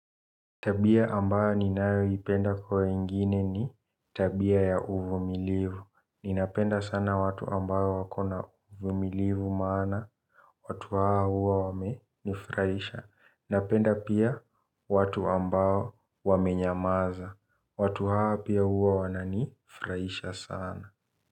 Tabia ambayo ninayo ipenda kwa wengine ni tabia ya uvu milivu. Ninapenda sana watu ambao wakona uvu milivu maana, watu hawa huwa wame nifuraisha. Napenda pia watu ambayo wamenyamaza, watu hawa pia huwa wana nifuraisha sana.